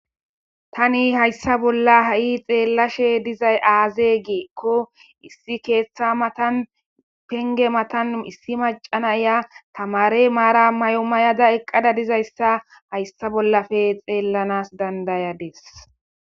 Tani hayssa bolla ha'i xeellashe dizay aazegiekko issi keeththa matan penge matan issi macana ya tamare maara may'o mayada eqqada dizayssa hayssa bollafe xeellanas dandayades